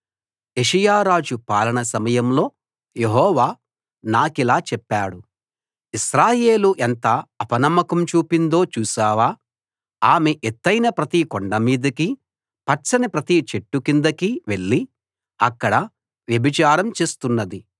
యోషీయా రాజు పాలన సమయంలో యెహోవా నాకిలా చెప్పాడు ఇశ్రాయేలు ఎంత అపనమ్మకం చూపిందో చూశావా ఆమె ఎత్తయిన ప్రతి కొండమీదికీ పచ్చని ప్రతి చెట్టు కిందికీ వెళ్ళి అక్కడ వ్యభిచారం చేస్తున్నది